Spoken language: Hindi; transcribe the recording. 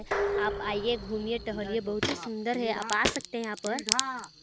--आप आईये घूमिये टहलिए बहुत ही सुन्दर है आप आ सकते है यहाँ पर--